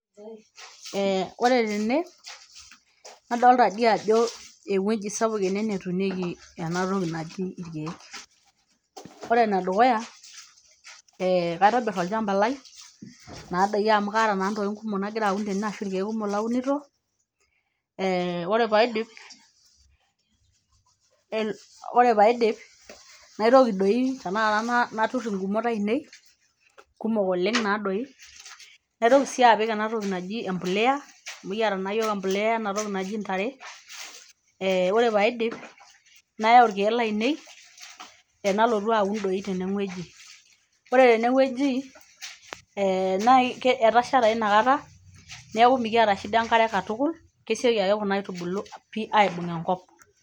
eeh ore tene nadolta diii ajo ewueji sapuk ene netunieki enatoki naji irkeek ore enedukuya kaitobirrr olchamba lai naa doi amu kaata naa ntokitin kumok nagira aun tene ashu irkeek kumok launito eh ore paidip el ore paidip naitoki doi tenakata naturr ingumot ainei kumok oleng naa doi naitoki sii apik enatoki naji empuleya amu ekiata naa yiok empuliya enatoki naji intare ee ore paidip nayau irkeek lainei enalotu aun doi tenewueji ore tenewueji eh naa etasha taa inakata neeku mikiata shida enkare katukul kesioki ake kuna aitubulu pii aibung enkop.